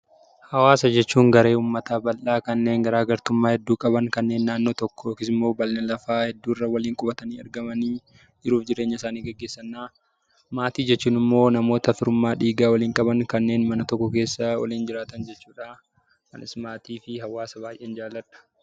Hawaasa jechuun garee uummataa bal'aa kanneen garaa gartummaa hedduu qaban, kanneen naannoo tokko yookiis immoo bal'ina lafaa hedduu irra waliin qubatanii argamanii jiruuf jireenya isaanii geggeessani dha. Maatii jechuun immoo namoota firummaa dhiigaa waliin qaban, kanneen mana tokko keessa waliin jiraatan jechuu dha. Anis maatii fi hawaasa baay'een jaalladha.